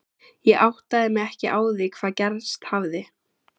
Ég áttaði mig ekki á því hvað gerst hafði.